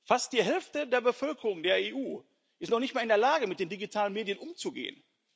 Fast die Hälfte der Bevölkerung der EU ist noch nicht mal in der Lage, mit den digitalen Medien umzugehen.